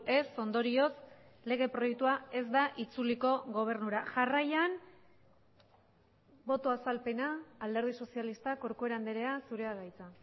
ez ondorioz lege proiektua ez da itzuliko gobernura jarraian boto azalpena alderdi sozialistak corcuera andrea zurea da hitza